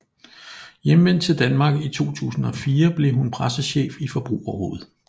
Hjemvendt til Danmark i 2004 blev hun pressechef i Forbrugerrådet